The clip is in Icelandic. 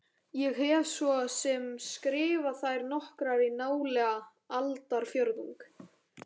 Ég hef svo sem skrifað þær nokkrar í nálega aldarfjórðung.